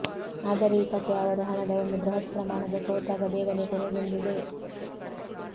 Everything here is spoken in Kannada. ಆದರೆ ಈ ಕಥೆ ಅವರು ಹಣದ ಒಂದು ಬೃಹತ್ ಪ್ರಮಾಣದ ಸೋತಾಗ ಬೇಗನೆ ಕೊನೆಗೊಂಡಿದೆ